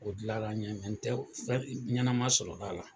O dila la n ɲe n tɛ ɲɛnama sɔrɔ la a la